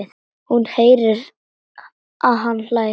Hún heyrir að hann hlær.